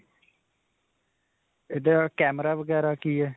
ਇਹਦਾ camera ਵਗੈਰਾ ਕੀ ਹੈ?